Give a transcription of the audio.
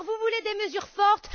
Vous voulez des mesures fortes?